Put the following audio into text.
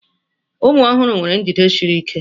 Ụmụ ọhụrụ nwere njide siri ike